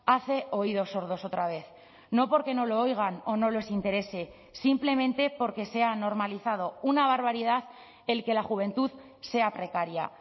hace oídos sordos otra vez no porque no lo oigan o no les interese simplemente porque se ha normalizado una barbaridad el que la juventud sea precaria